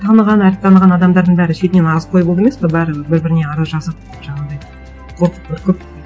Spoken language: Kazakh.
таныған әріп таныған адамдардың бәрі шетінен арызқой болды емес пе бәрі бір біріне арыз жазып жаңағындай корқып үркіп